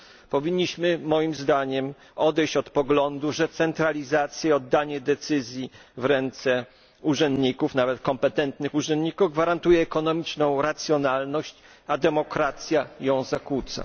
Powinniśmy moim zdaniem odejść od poglądu, że centralizacja, oddanie decyzji w ręce urzędników, nawet kompetentnych urzędników, gwarantuje ekonomiczną racjonalność, a demokracja ją zakłóca.